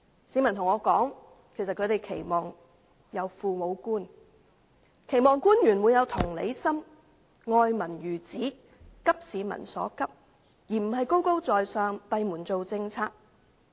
市民告訴我，他們期望有父母官，期望官員有同理心，愛民如子，急市民所急，而不是高高在上，閉門制訂政策。